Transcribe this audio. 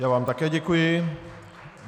Já vám také děkuji.